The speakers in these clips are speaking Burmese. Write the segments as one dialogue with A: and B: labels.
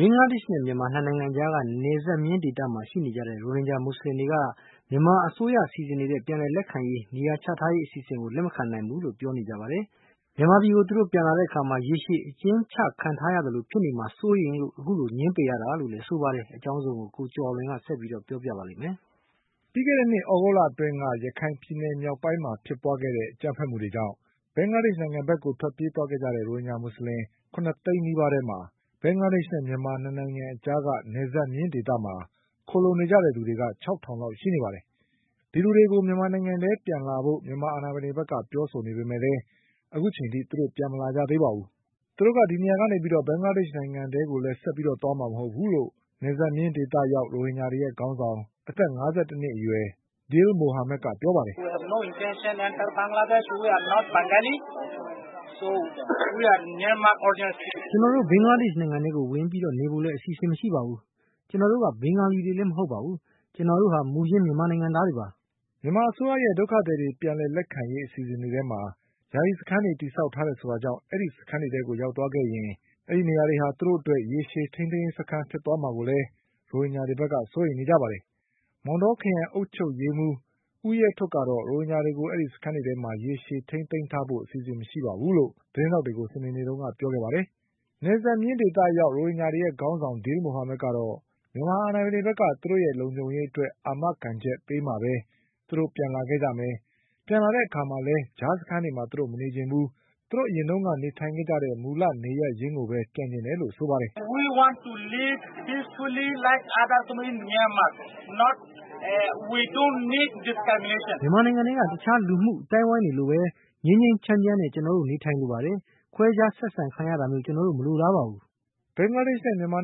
A: ဘင်္ဂလားဒေ့ရှ်နဲ့မြန်မာနှစ်နိုင်ငံအကြားက နယ်စပ်မျဉ်းဒေသမှာ ရှိနေကြတဲ့ရိုဟင်ဂျာမူဆလင်တွေက မြန်မာအစိုးရက စီစဉ်နေတဲ့ ပြန်လည်လက်ခံရေးနဲ့ နေရာချထားရေး အစီအစဉ်ကို လက်မခံနိုင်ဘူးလို့ပြောနေပါတယ်။ မြန်မာပြည်ကိုသူတို့ ပြန်လာတဲ့ အခါမှာ ရေရှည်အကျဉ်းချခံထားရသလိုဖြစ်နေမှာကို စိုးရိမ်လို့ အခုလိုငြင်းပယ်နေတာလို့ဆိုပါတယ်။ ဒီအကြောင်း ကိုကျော်အောင်လွင်က ဆက်ပြီးပြောပြပါလိမ့်မယ်
B: ။ ပြီးခဲ့တဲ့နှစ်သြဂုတ်လအတွင်းက ရခိုင်ပြည်နယ်မြောက်ပိုင်းမှာဖြစ်ပွါးခဲ့တဲ့အကြမ်းဖက်မှုတွေကြောင့် ဘင်္ဂလားဒေ့ရှ်နိုင်ငံ ဘက်ကို ထွက်ပြေးသွားကြတဲ့ ရိုဟင်ဂျာမူဆလင် ၇သိန်းနီးပါးထဲမှာ ဘင်္ဂလားဒေ့ရှ်နိုင်ငံနဲ့မြန်မာနှစ်နိုင်ငံအကြားက နယ်စပ် မျဉ်းဒေသမှာ ခိုလှုံနေကြသူတွေက ခြောက်ထောင်လောက်ရှိနေပါတယ်။ ဒီလူတွေကို မြန်မာနိုင်ငံထဲကိုပြန်လာဖို့ မြန်မာ အာဏာပိုင်တွေက ပြောနေပေမယ့်လည်း အခုချိန်ထိပြန်မလာကြသေးပါဘူး။ ဘင်္ဂလားဒေ့ရှ်နိုင်ငံထဲကိုလည်း သူတို့ဆက် သွားမှာမဟုတ်ဘူးလို့ နယ်စပ်မျဉ်းဒေသရောက်ရိုဟင်ဂျာတွေရဲ့ခေါင်းဆောင် အသက်၅၁နှစ်အရွယ် Dil Mohamedက ပြောပါတယ်။ "က
A: ျနော်တို့ ဘင်္ဂလားဒေ့ရှ်နိုင်ငံထဲကို ဝင်ပြီးနေဖို့လည်း အစီအစဉ်မရှိပါဘူး။ ကျနော်တို့က ဘင်ဂါလီတွေလည်း မဟုတ်ပါ ဘူး။ ကျနော်တို့ဟာ မူရင်း မြန်
B: မာနိုင်ငံသားတွေပါ။" မြန်မာအစိုးရရဲ့ ဒုက္ခသည်တွေပြန်လည်လက်ခံရေးအစီအစဉ်တွေထဲမှာ ယာယီစခန်းတွေတည်ဆောက်ထားတယ်ဆို တာ ကြောင့် ဒီစခန်းတွေထဲကိုရောက်သွားခဲ့ရင် အဲဒီနေရာတွက သူတို့အတွက် ရေရှည်ထိန်းသိမ်းရေးစခန်းတွေဖြစ်သွားမှာကို လည်း ရိုဟင်ဂျာတွေကစိုးရိမ်နေကြတာပါ။ မောင်တောခရိုင်အုပ်ချုပ်ရေးမှုး ဦးရဲထဋ်ကတော့ ရိုဟင်ဂျာတွေကို စခန်းတွေထဲမှာ ရေရှည်ထိန်းသိမ်းထားဖို့အစီအစဉ်မရှိဘူးလို့ သတင်းထောက်တွေကို စနေနေ့တုန်းကပြောခဲ့ပါတယ်။ နယ်စပ်မျဉ်းဒေသရောက် ရိုဟင်ဂျာတွေရဲ့ခေါင်းဆောင် Dil Mohamedကတော့ မြန်မာအာဏာပိုင်တွေဘက်က သူတို့ရဲ့ လုံခြုံရေးအတွက် အာမခံချက်ပေးမှပဲ သူတို့ပြန်လာခဲ့ကြမယ်၊ ပြန်လာတဲ့အခါမှာ လည်း ကြားစခန်းတွေမှာ မနေချင်ဘူး၊ သူတို့အရင်နေထိုင်ခဲ့ကြတဲ့ မူလနေရပ်ရင်းကိုပဲပြန်နေချင်တယ်လို့ ဆိုပါတယ်
C: ။ "မြန်မာ
A: နိုင်ငံထဲက တခြားလူ့မှုအသိုင်းအဝိုင်းတွေလိုပဲ ငြိမ်းငြိမ်းချမ်းချမ်
B: း ကျနော်တို့နေထိုင်လိုပါတယ်။ ခွဲခြားဆက်ဆံခံရ တာမျိုး ကျနော်တို့မလိုလားပါဘူး" ဘင်္ဂလားဒေ့ရှ်နိုင်ငံ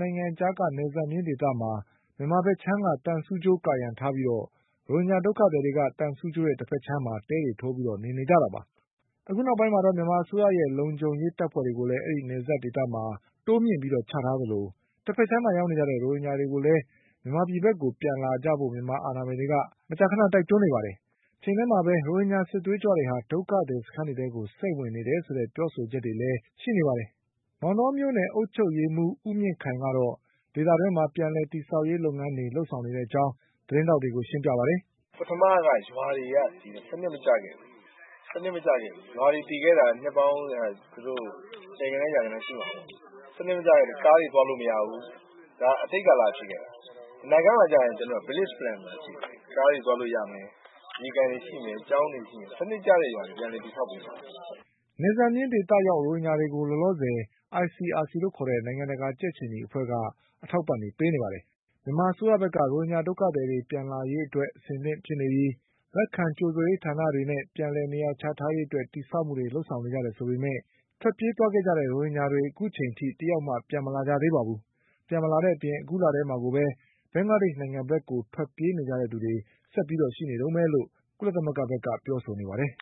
B: နဲ့မြန်မာနှစ်နိုင်ငံအကြားက နယ်စပ်မျဉ်းဒေသမှာ မြန်မာဘက်ခြမ်းက သံဆူးကြိုးကာရံထားပြီး ရိုဟင်ဂျာ ဒုက္ခသည်တွေက သံဆူးကြိုးရဲ့တဘက်ခြမ်းမှာ တဲတွေထိုးပြီးနေနေကြတာပါ။ အခုနောက်ပိုင်းမှာ မြန်အစိုးရရဲ့လုံခြုံရေး တပ်ဖွဲ့တွေကိုလည်း အဲဒီနယ်စပ်ဒေသမှာ တိုးမြင့်ပြီးချထားသလို တဘက်ခြမ်းမှာရောက်နေကြတဲ့ ရိုဟင်ဂျာတွေကို လည်း မြန်မာပြည်ဘက်ကိုပြန်လာဖို့ မြန်မာအာဏာပိုင်တွေက မကြာခဏတိုက်တွန်းနေပါတယ်။ တချိန်ထဲမှာပဲ ရိုဟင်ဂျာစစ်သွေး ကြွတွေ ဒုက္ခသည်စခန်းတွေထဲ စိမ့်ဝင်နေတယ်ဆိုတဲ့ပြောဆိုချက်တွေလည်းရှိနေပါတယ်။ မောင်တောမြို့နယ်အုပ်ချုပ်ရေးမှုး ဦးမြင့်ခိုင်ကတော့ ဒေသတွင်းမှာပြန်လည်တည်ဆောက်ရေးလုပ်ငန်းတွေလုပ်ဆောင် နေတဲ့အကြောင်း သတင်းထောက်တွေကိုရှင်းပြပါတယ်
C: ။ "ပထမက ရွာတွေက ဒီမှာ စနစ်မကျခဲ့ဘူး။ ရွာတွေတည်ခဲ့တာက နှစ်ပေါင်း ဆယ်ဂဏန်း၊ ရာဂဏန်းရှိမှာပေါ့။ စနစ်မကျခဲ့တော့ ကားတွေသွားလို့မရဘူး။ ဒါက အတိတ်ကာလကဖြစ်ခဲ့တာ။ အနာဂတ်မှာကျရင် ကျနော်တို့က Village Plan ဆိုတာရှိတယ်။ ကားတွေသွားလို့ရမယ်၊ ရေကန်တွေရှိမယ်၊ ကျောင်းတွေရှိမယ်၊ စနစ်ကျတဲ့ရွာ တွေကို ပြန်လည်တည်ဆောက်ပေးမှာပါ
B: " နယ်စပ်မျဉ်းဒေသရောက်ရိုဟင်ဂျာတွေကို လောလောဆယ် ICRC နိုင်ငံတကာကြက်ခြေနီ အဖွဲ့က အထောက်အပံ့တွေ ပေးနေပါတယ်။ မြန်မာအစိုးရဘက်က ရိုဟင်ဂျာတွေပြန်လာရေးအတွက် အဆင်သင့်ဖြစ်နေပြီ၊ လက်ခံကြိုဆိုရေးဌာနတွေ နဲ့ ပြန်လည်နေရာချထားရေးအတွက်တည်ဆောက်မှုတွေလုပ်ဆောင်နေကြတယ်ဆိုပေမဲ့ ထွက်ပြေးသွားကြ တဲ့ရိုဟင်ဂျာတွေ တယောက်မှ ပြန်မလာကြသေးပါဘူး။ ပြန်မလာတဲ့အပြင် အခုလထဲမှာကိုပဲ ဘင်္ဂလားဒေ့ရှ်နိုင်ငံဘက်ကို ထွက်ပြေးနေကြသူတွေ
C: အခုအချိန်ထိ ရှိနေတုန်းပဲလို့ ကုလသမဂ္ဂဘက်ကပြောဆိုနေပါတယ်။